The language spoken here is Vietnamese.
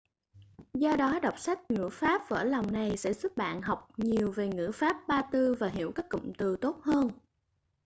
do đó đọc sách ngữ pháp vỡ lòng này sẽ giúp bạn học nhiều về ngữ pháp ba tư và hiểu các cụm từ tốt hơn